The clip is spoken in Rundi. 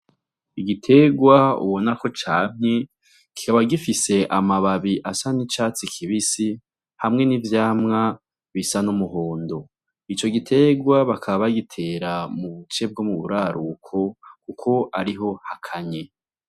Igiterwa ubona ko camye, kikaba gifise amababi asa n'icatsi kibisi hamwe n'ivyamwa bisa n'umuhondo. Ico giterwa bakaba bagitera mu buce bwo mu buraruko kuko ariho hakanye.